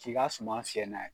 K'i ka suma fiyɛ n'a ye.